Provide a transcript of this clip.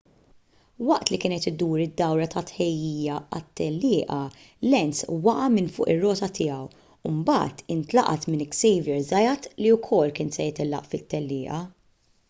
waqt li kien qed idur id-dawra ta' tħejjija għat-tellieqa lenz waqa' minn fuq ir-rota tiegħu u mbagħad intlaqat minn xavier zayat li wkoll kien se jtellaq fit-tellieqa